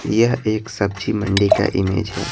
यह एक सब्जी मंडी का इमेज है।